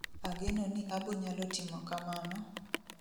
agenoni abonyalo timo kamano ,